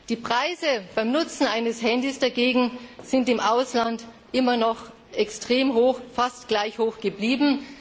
Die Preise beim Nutzen eines Handys dagegen sind im Ausland immer noch extrem hoch, fast gleich hoch geblieben.